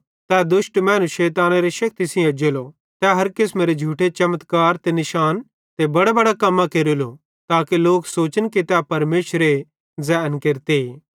तै दुष्ट मैनू शैतानेरे शेक्ति सेइं एज्जेलो तै हर किसमेरे झूठे चमत्कार ते निशान ते बडांबडां कम्मां केरेलो ताके लोक सोचन कि तै परमेशरे ज़ै एन केरते